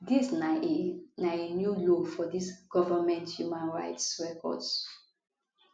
dis na a na a new low for dis government human rights records